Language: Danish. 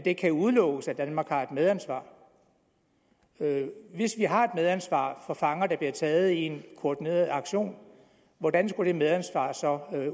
ikke kan udelukkes at danmark har et medansvar hvis vi har et medansvar for fanger der bliver taget i en koordineret aktion hvordan skal det medansvar så